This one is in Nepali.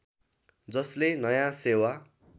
जसले नयाँ सेवा